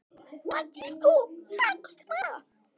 Nú verður þetta blanda.